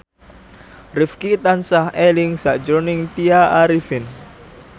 Rifqi tansah eling sakjroning Tya Arifin